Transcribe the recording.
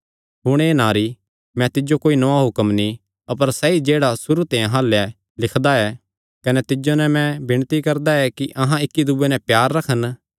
हुण हे नारी मैं तिज्जो कोई नौआं हुक्म नीं अपर सैई जेह्ड़ा सुरू ते अहां अल्ल ऐ लिखदा ऐ कने तिज्जो नैं विणती करदा ऐ कि अहां इक्की दूये नैं प्यार रखन